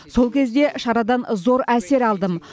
сол кезде шарадан зор әсер алдым